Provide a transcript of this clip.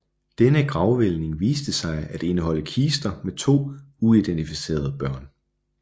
Denne gravhvælving viste sig at indeholde kister med to uidentificerede børn